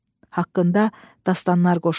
Haqqında dastanlar qoşuldu.